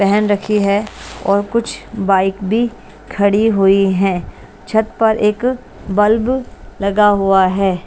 पेहन रखी है और कुछ बाइक भी खड़ी हुई हैं छत पर एक बल्ब लगा हुआ है।